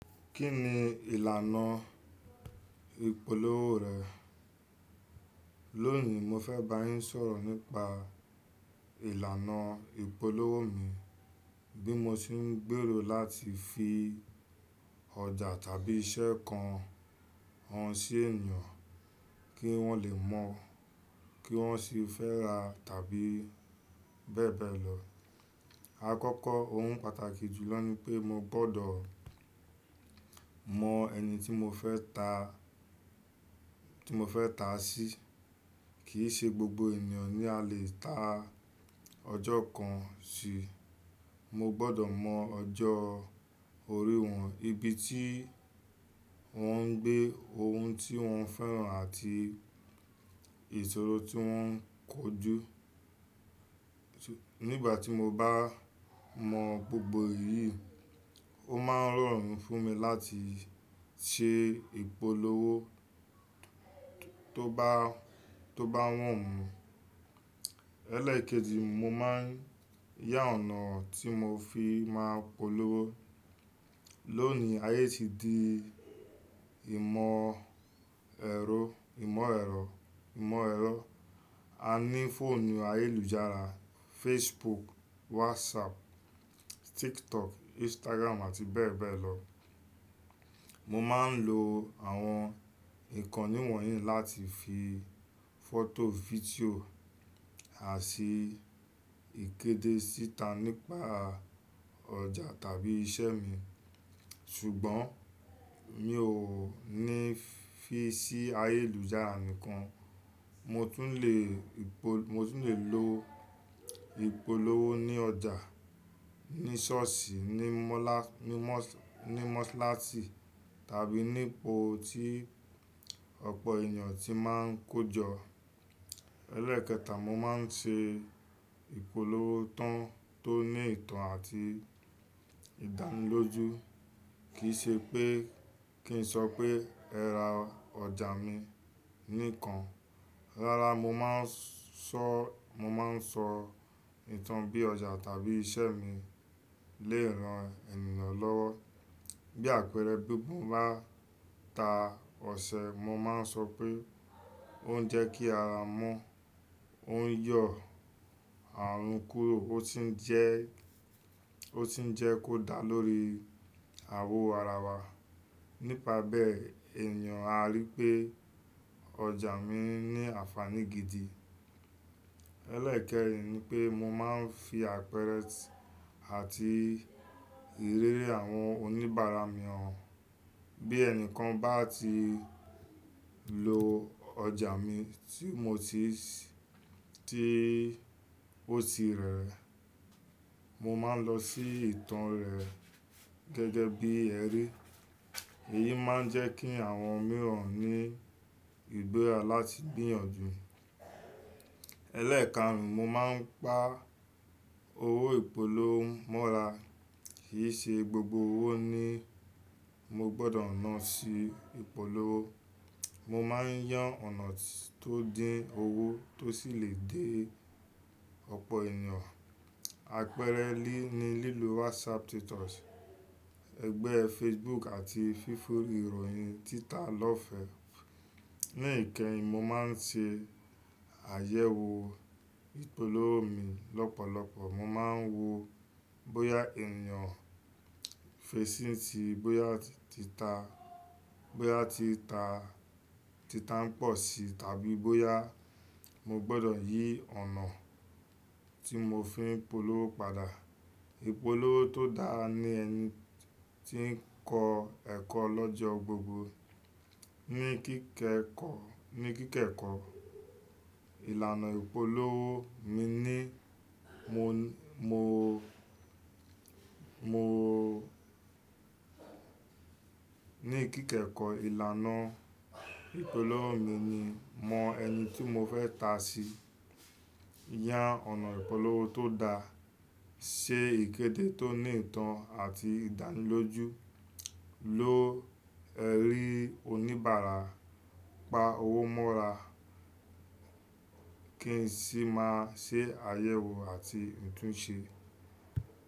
Kí ni ìlànà ìpolówó rẹ̀? Lónìí, mo fẹ́ bá yín sọ̀rọ̀ nípa ìlànà ìpolówó mi, bí mo ṣe ń gbèrò láti fi ọjà tàbí iṣẹ́ kan hàn sí ènìyàn kí wọ́n lè mọ̀ kí wọ́n sì fẹ́ ra tàbí bẹ́ẹ̀ bẹ́ẹ̀ lọ. Àkọ́kọ́, ohun pàtàkì jùlọ ni pé mo gbọ́dọ̀ mọ ẹni tí mo fẹ́ ta, tí mo fẹ́ ta sí. Kì í ṣe gbogbo ènìyàn ni a lè ta ọjọ́ kan sí. Mo gbọ́dọ̀ mọ ọjọ́ orí wọn, ibi tí wọ́n ń gbé, ohun tí wọ́n ń fẹ́ràn àti ìṣòro tí wọ́n ń kojú. Nígbà tí mo bá mọ gbogbo èyí, ó máa ń rọrùn fún mi láti ṣe ìpolówó tó bá, tó bá wọ̀ mú. Ẹ̀lẹ́ẹ̀kẹjì, mo máa ń yá ọ̀nà tí mo fi máa polówó. Lónìí, ayé ti di ìmọ̀ ẹ̀rọ, ìmọ̀ ẹ̀rọ, ìmọ̀ ẹ̀rọ. A ní fóònù ayélujára, Facebook, WhatsApp, TikTok, Instagram àti bẹ́ẹ̀ bẹ́ẹ̀ lọ. Mo máa ń lo àwọn ìkànnì wọ̀nyí láti fi fọ́tò, fídíò àti ìkéde síta nípa ọjà tàbí iṣẹ́ mi. Ṣùgbọ́n mi ò ní fí í sí ayélujára nìkan. Mo tún lè ìpol, mo tún lè lo ìpolówó ní ọjà, ní ṣọ́ọ̀ṣì, ní mọ́là, ní mọ́s, ní mọ́sálásì tàbí nípo tí ọ̀pọ̀ ènìyàn ti máa ń kójọ. Ẹ̀ẹ́ẹ̀kẹta, mo máa ń ṣe ìpolówó tó, tó ní ìtàn àti ìdánilójú. Kì í ṣe pé kí n sọ pé ẹ ra ọjà mi nìkan. Rárá, mo máa ń sọ, mo máa ń sọ ìtàn bí ọjà tàbí iṣẹ́ mi lé ìran ènìyàn lọ́wọ́. Bí àpẹẹrẹ, bí mo bá ta ọṣẹ, mo máa ń sọ pé ó ń jẹ́ kí ara mọ́, ó ń yọ àrùn kúrò, ó sì ń jẹ́, ó sì ń jẹ́ kó dá lórí àwọ̀ ara wa. Nípa bẹ́ẹ̀, ènìyàn á rí pé ọjà mi ní àfààní gidi. Ẹ̀lẹ́ẹ̀kẹrin ni pé mo máa ń fi àpẹẹrẹ àti ìréèrè àwọn oníbàárà mi hàn. Bí ẹnìkan bá ti lo ọjà mi tí mo ti, tí ó ti rẹ̀ rẹ̀, mo máa ń lọ sí ìtàn rẹ̀ gẹ́gẹ́ bí ẹrí. Èyí máa ń jẹ́ kí àwọn mìíràn ní ìgbéra láti gbìyànjú. Ẹ̀lẹ́ẹ̀kárùn, mo máa ń pa owó ìpolówó mọ́ra. Kì í ṣe gbogbo owó ni mo gbọ́dọ̀ nà sí ìpolówó. Mo máa ń yán ọ̀nà tó dín owó tó sì lè dé ọ̀pọ̀ ènìyàn. Àpẹẹrẹ ní lílo WhatsApp status, ẹgbẹ́ Facebook àti fífún ìròyìn Twitter lọ́ọ̀fẹ́. Ní ìkẹyìn, mo máa ń ṣe àyẹ̀wò ìpolówó mi lọ́pọ̀lọpọ̀. Mo máa ń wo bóyá ènìyàn fẹ́ ṣí ì tí, bóyá ti ta, bóyá tí ta, títa ń pọ̀ sí tàbí bóyá mo gbọ́dọ̀ yí ọ̀nà tí mo fi ń polówó padà. Ìpolówó tó dára ni ẹni tí ń kọ ẹ́kọ́ lọ́jọ́ gbogbo. Ní kííkẹ́kọ́, ní kííkẹ́ẹ̀kọ́, ìlànà ìpolówó mi ni mo, mo, mo Ní kííkẹ́ẹ̀kọ́, ìlànà ìpolówó mi ni mọ ẹni tí mo fẹ́ ta sí, yàn ọ̀nà ìpolówó tó dáa, ṣe ìkéde tó ní ìtàn àti ìdánilójú, lo ẹrí oníbàárà, pa owó mọ́ra kí n sì máa ṣe àyẹ̀wò àti ìtúnṣe.